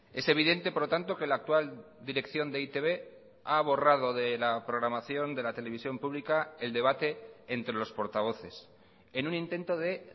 es evidente por lo tanto que la actual dirección de e i te be ha borrado de la programación de la televisión pública el debate entre los portavoces en un intento de